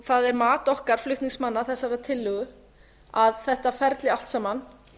það er mat okkar flutningsmanna að þessari tillögu að þetta ferli allt saman